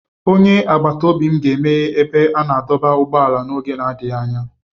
Onye agbata obi m ga-emeghe ebe a na-adọba ụgbọala n'oge adịghị anya.